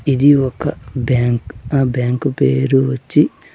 ఇది ఒక బ్యాంక్ ఆ బ్యాంకు పేరు వచ్చి--